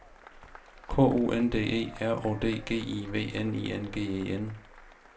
K U N D E R Å D G I V N I N G E N